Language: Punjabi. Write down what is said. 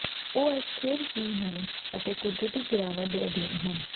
ਉਹ ਅਸਥਿਰ ਵੀ ਹਨ ਅਤੇ ਕੁਦਰਤੀ ਗਿਰਾਵਟ ਦੇ ਅਧੀਨ ਹਨ